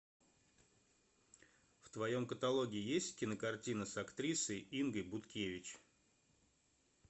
в твоем каталоге есть кинокартина с актрисой ингой будкевич